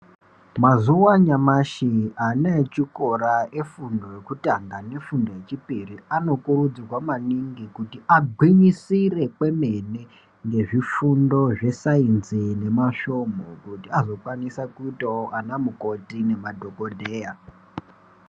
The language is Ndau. Mazuva anyamashi ana echikora efundo yokutanga nefundo yechipiri anokurudzirwa maningi kuti agwinyisire kwemene ngezvifundo zvesainzi nemasvonhu kuti azokwanisa kuitawo anamukoti nemadhogodheya.